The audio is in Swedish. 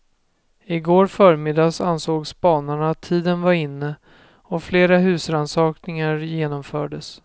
I går förmiddags ansåg spanarna att tiden var inne och flera husrannsakningar genomfördes.